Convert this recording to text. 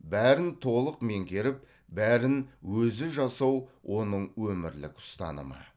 бәрін толық меңгеріп бәрін өзі жасау оның өмірлік ұстанымы